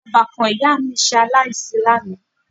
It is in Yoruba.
Ọbàkan ìyá mi ṣe aláìsí lánàá